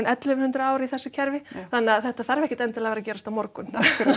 ellefu hundruð ár í þessu kerfi þannig að þetta þarf ekkert endilega að vera að gerast á morgun akkúrat